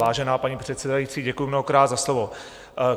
Vážená paní předsedající, děkuji mnohokrát za slovo.